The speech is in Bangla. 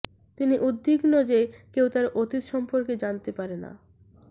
তিনি উদ্বিগ্ন যে কেউ তার অতীত সম্পর্কে জানতে পারে না